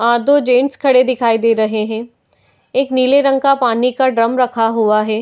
आँ दो जेंट्स खड़े दिखाई दे रहे हैं। एक नीले रंग का पानी का ड्रम रखा हुआ है।